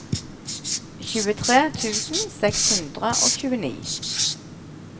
tjuetre tusen seks hundre og tjueni